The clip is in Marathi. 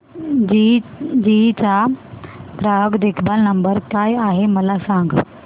जीई चा ग्राहक देखभाल नंबर काय आहे मला सांग